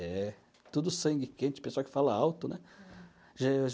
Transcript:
É, tudo sangue quente, pessoal que fala alto, né?